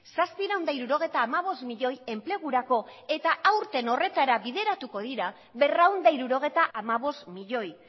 zazpiehun eta hirurogeita hamabost milioi enplegurako eta aurten horretara bideratuko dira berrehun eta hirurogeita hamabost milioi